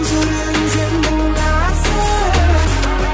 жүрегің сенің нәзік